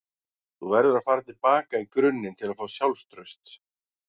Þú verður að fara til baka í grunninn til að fá sjálfstraust.